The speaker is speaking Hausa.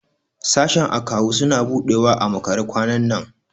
Sashen Akawu suna buɗewa a makare kwanan nan.